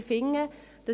Ich finde aber: